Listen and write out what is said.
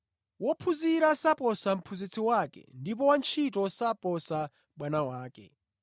“Wophunzira saposa mphunzitsi wake ndipo wantchito saposa bwana wake.